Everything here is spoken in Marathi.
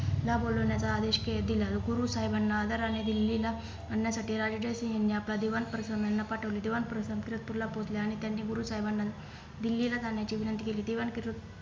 नाबोलावण्याचा आदेश दिला गुरु साहेबांना आदराने दिल्ली ला आणण्यासाठी राजा जय सिंग यांनी आपला दिवाण प्रसंतकर यांना पाठवले दिवाण प्रसंतकर किरतपूर ला पोहोचल्या आणि त्यांनी गुरु साहेबांना दिल्ली ला जाण्याची विनंती केली